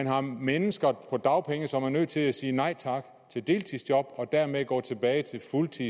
har mennesker på dagpenge som er nødt til at sige nej tak til deltidsjob og dermed går tilbage til at